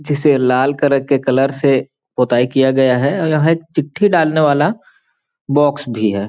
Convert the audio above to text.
जिसे लाल कलर के कलर से पोताई किया गया है और यहाँ एक चिट्ठी डालने वाला बॉक्स भी है।